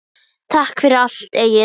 Takk fyrir allt, Egill.